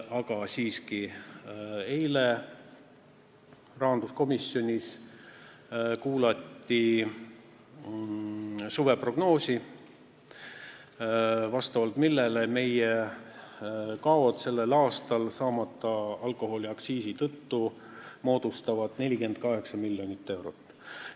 Aga siiski, eile rahanduskomisjonis kuulati suveprognoosi, vastavalt millele meie kaod sellel aastal saamata jäänud alkoholiaktsiisi tõttu moodustavad 48 miljonit eurot.